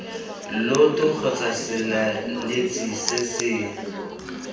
lloto kgotsa setlaleletsi se se